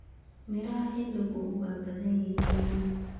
Miraha xilligu waa badan yihiin.